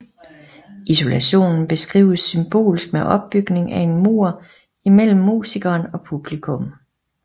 Isolationen beskrives symbolsk med opbygningen af en mur imellem musikeren og publikum